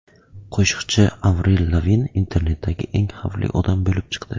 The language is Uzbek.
Qo‘shiqchi Avril Lavin internetdagi eng xavfli odam bo‘lib chiqdi.